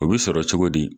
O bi sɔrɔ cogo di